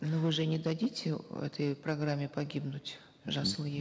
ну вы же не дадите этой программе погибнуть жасыл ел